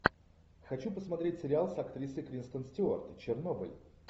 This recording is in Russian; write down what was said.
хочу посмотреть сериал с актрисой кристен стюарт чернобыль